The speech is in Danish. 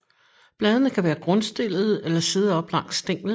Bladene kan være grundstillede eller sidde op langs stænglen